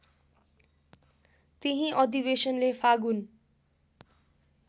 त्यही अधिवेशनले फागुन